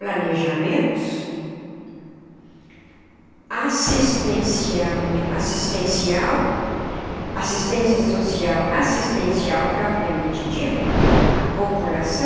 Planejamentos, assistência assistencial assistência social assistencial, propriamente dito, à população,